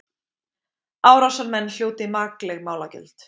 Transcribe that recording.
Árásarmenn hljóti makleg málagjöld